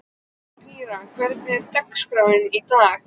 Pría, hvernig er dagskráin í dag?